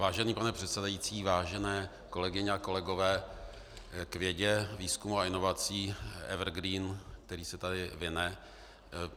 Vážený pane předsedající, vážené kolegyně a kolegové, k vědě, výzkumu a inovacím - evergreen, který se tady vine.